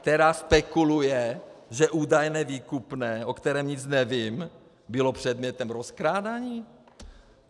Která spekuluje, že údajné výkupné, o kterém nic nevím, bylo předmětem rozkrádání!